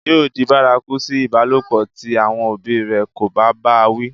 yóò di bárakú sí ìbálòpọ̀ tí àwọn òbí rẹ̀ kò bá bá a wí